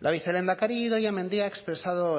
la vicelehendakari idoia mendia ha expresado